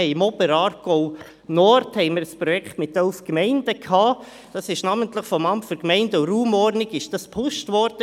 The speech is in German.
Im Oberaargau Nord gab es ein Projekt mit elf Gemeinden, das namentlich vom Amt für Gemeinden und Raumordnung (AGR) gepusht wurde.